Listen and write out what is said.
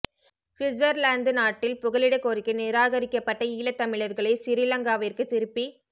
சுவிற்சர்லாந்து நாட்டில் புகலிடக் கோரிக்கை நிராகரிக்கப்பட்ட ஈழத் தமிழர்களைச் சிறி லங்காவிற்குத் திருப்பி